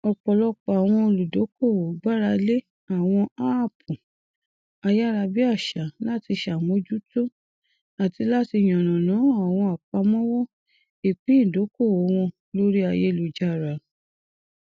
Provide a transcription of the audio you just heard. ọpọlọpọ àwọn olùdókòwò gbára lé àwọn áàpù ayárabíàṣá láti ṣàmójútó àti láti yànnàná àwọn àpamọwọ ìpín ìdókòwò wọn lórí ayélujára